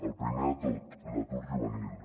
el primer de tot l’atur juvenil